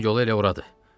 Onun yolu elə oradır.